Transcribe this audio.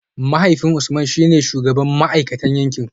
Mahaifin Usman shi ne shugaban ma’aikatan yankin